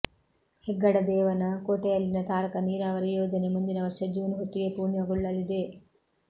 ಹೆಗ್ಗಡದೇವನ ಕೋಟೆಯಲ್ಲಿನ ತಾರಕ ನೀರಾವರಿ ಯೋಜನೆ ಮುಂದಿನ ವರ್ಷ ಜೂನ್ ಹೊತ್ತಿಗೆ ಪೂರ್ಣಗೊಳ್ಳಲಿದೆ